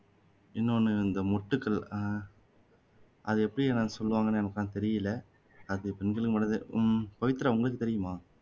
இன்னொன்னு இந்த மொட்டுக்கள் அதை எப்படி நான் சொல்லுவாங்கன்னு எனக்கு எல்லாம் தெரியல அது பெண்களுக்கு மட்டும் தான் உம் பவித்ரா உங்களுக்கு தெரியுமா